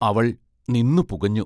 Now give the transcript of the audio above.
അവൾ നിന്നു പുകഞ്ഞു.